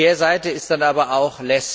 Die Kehrseite ist dann aber auch